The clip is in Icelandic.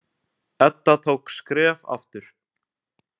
Edda tók skref aftur.